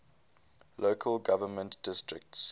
local government districts